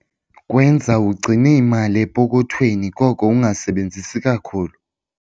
Kwenza ugcine imali epokothweni koko ungasebenzisi kakhulu.